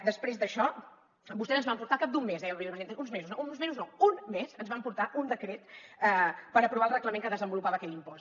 després d’això vostès ens van portar al cap d’un mes deia la vicepresidenta uns mesos uns mesos no un mes un decret per aprovar el reglament que desenvolupava aquell impost